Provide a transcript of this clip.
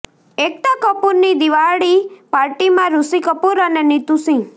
એકતા કપૂરની દિવાળી પાર્ટીમાં ઋષિ કપૂર અને નીતૂ સિંહ